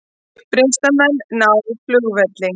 Uppreisnarmenn ná flugvelli